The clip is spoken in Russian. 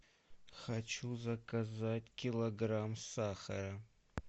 хочу заказать килограмм сахара